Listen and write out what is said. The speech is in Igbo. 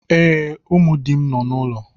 Ee, ụmụ di m nọ n’ụlọ.